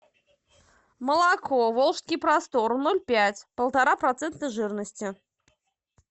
молоко волжский простор ноль пять полтора процента жирности